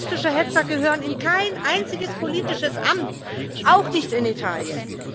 Rassistische Hetzer gehören in kein einziges politisches Amt, auch nicht in Italien.